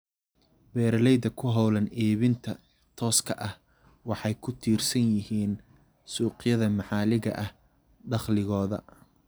Beeralayda ku hawlan iibinta tooska ah waxay ku tiirsan yihiin suuqyada maxalliga ah dakhligooda.